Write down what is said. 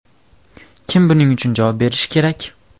Kim buning uchun javob berishi kerak?